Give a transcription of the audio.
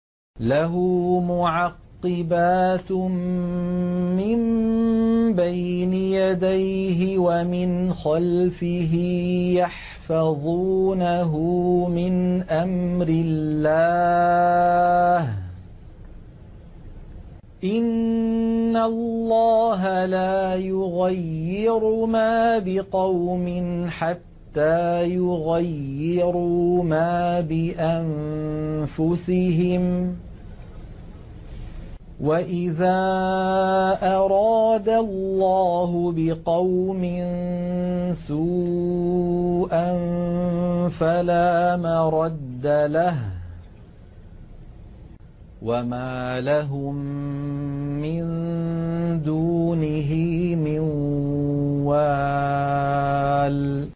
لَهُ مُعَقِّبَاتٌ مِّن بَيْنِ يَدَيْهِ وَمِنْ خَلْفِهِ يَحْفَظُونَهُ مِنْ أَمْرِ اللَّهِ ۗ إِنَّ اللَّهَ لَا يُغَيِّرُ مَا بِقَوْمٍ حَتَّىٰ يُغَيِّرُوا مَا بِأَنفُسِهِمْ ۗ وَإِذَا أَرَادَ اللَّهُ بِقَوْمٍ سُوءًا فَلَا مَرَدَّ لَهُ ۚ وَمَا لَهُم مِّن دُونِهِ مِن وَالٍ